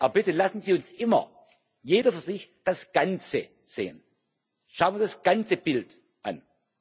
Aber bitte, lassen Sie uns immer, jeder für sich, das Ganze sehen, schauen wir das ganze Bild an.